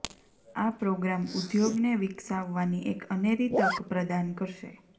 આ પ્રોગ્રામ ઉદ્યોગને વિકસાવવાની એક અનેરી તક પ્રદાન કરશે